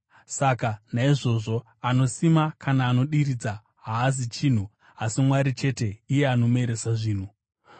Saka naizvozvo anosima kana anodiridza haazi chinhu, asi Mwari chete, iye anomeresa zvinhu.